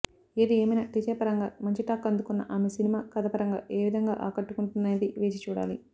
ఏది ఏమైనా టీజర్ పరంగా మంచి టాక్ అందుకున్న ఆమె సినిమా కథపరంగా ఏ విధంగా ఆకట్టుకుంటుందనేది వేచి చూడాలి